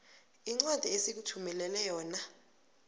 incwadi esikuthumelele yona